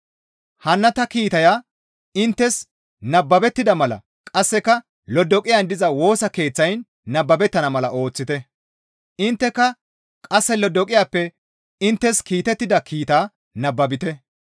Hanna ta kiitaya inttes nababettida mala qasseka Lodoqiyan diza Woosa Keeththayn nababettana mala ooththite; intteka qasse Lodoqiyappe inttes kiitettida kiitaa nababite.